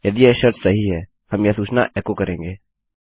यदि यह शर्त सही हैहम यह सूचना एकोकरेंगे